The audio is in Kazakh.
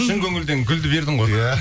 шын көңілден гүлді бердің ғой иә